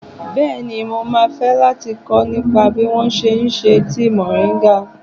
Bẹ́ẹ̀ni, mo máa fẹ́ láti kọ́ nípa bí wón ṣe ń ṣe tíì mòríńgà.